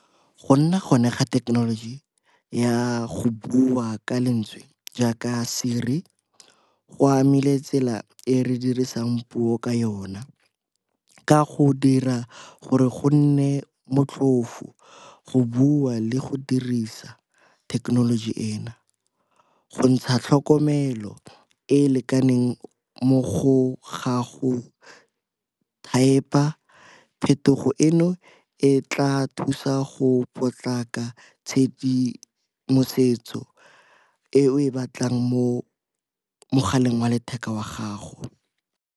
Go nna gone ga thekenoloji ya go bua ka lentswe jaaka Siri go amile tsela e re dirisang puo ka yona, ka go dira gore go nne motlhofo go bua le go dirisa thekenoloji eno. Go ntsha tlhokomelo e e lekaneng mo go ga go thaepa, phetogo eno e tla thusa go potlaka tshedimosetso e o e batlang mo mogaleng wa letheka wa gago.